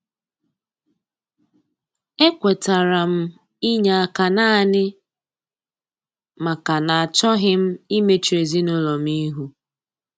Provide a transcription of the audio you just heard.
E kwetara m inye aka naanị maka na achọghị m imechu ezinụlọ m ihu.